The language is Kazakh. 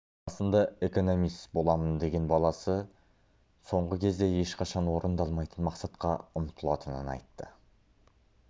басында экономист боламын деген баласы соңғы кезде ешқашан орындалмайтын мақсатқа ұмтылатынын айтты